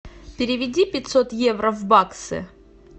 переведи пятьсот евро в баксы